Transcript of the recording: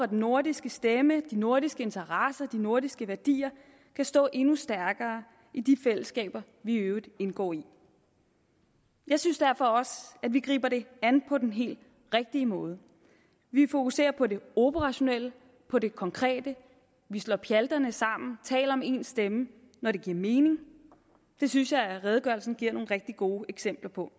den nordiske stemme de nordiske interesser de nordiske værdier kan stå endnu stærkere i de fællesskaber vi i øvrigt indgår i jeg synes derfor også at vi griber det an på den helt rigtige måde vi fokuserer på det operationelle på det konkrete vi slår pjalterne sammen og taler med en stemme når det giver mening det synes jeg at redegørelsen giver nogle rigtige gode eksempler på